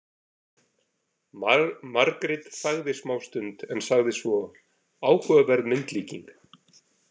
Margrét þagði smástund en sagði svo: Áhugaverð myndlíking.